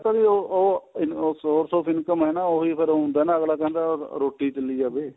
ਉਹ source of income ਏ ਨਾ ਉਹੀ ਫੇਰ ਹੁੰਦਾ ਅਗਲਾ ਕਹਿੰਦਾ ਰੋਟੀ ਤਾਂ ਲਈ ਜਾਵੇ